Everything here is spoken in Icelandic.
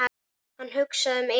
Hann hugsaði um Elísu.